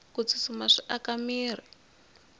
ku tsutsuma swi aka mirhi